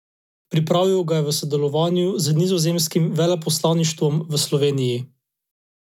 Pripravil ga je v sodelovanju z nizozemskim veleposlaništvom v Sloveniji.